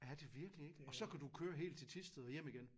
Er det virkelig ikke? Og så kan du køre helt til Thisted og hjem igen